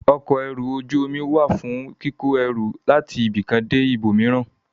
Ọkọ̀ ẹrù ojú omi wà fún kíkó ẹrù láti ibì kan dé ibòmíràn.